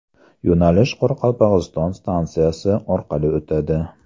Yo‘nalish Qoraqalpog‘iston stansiyasi orqali o‘tadi.